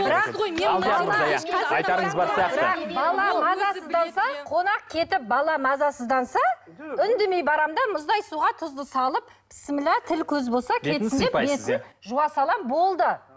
қонақ кетіп бала мазасызданса үндемей барамын да мұздай суға тұзды салып бісміллә тіл көз болса кетсін деп жуа саламын болды